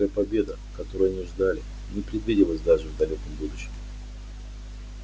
лёгкая победа которой они ждали не предвиделась даже в далёком будущем